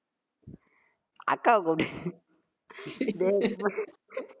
அக்காவை கூப்பிட்டு டேய்